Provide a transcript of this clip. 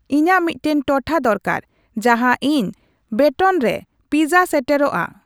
ᱤᱧᱟᱹᱜ ᱢᱤᱫᱴᱟᱝ ᱴᱚᱴᱷᱟ ᱫᱚᱨᱠᱟᱨ ᱡᱟᱦᱟ ᱤᱧ ᱵᱮᱴᱚᱱ ᱨᱮ ᱯᱤᱡᱟ ᱥᱮᱴᱮᱨᱚᱜ ᱟ